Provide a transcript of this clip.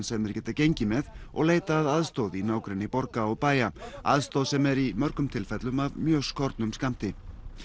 sem þeir geta gengið með og leita að aðstoð í nágrenni borga og bæja aðstoð sem er í mörgum tilfellum af mjög skornum skammti